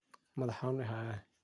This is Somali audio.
Madhax xanun iihaya.